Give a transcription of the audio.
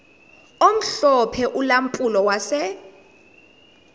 omhlophe ulampulo wase